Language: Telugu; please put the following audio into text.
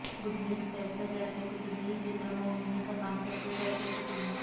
గుడ్ న్యూస్ పేరుతో తెరకెక్కుతున్న ఈ చిత్రం ఓ వినూత్న కాన్సెప్ట్ తో తెరకెక్కుతుంది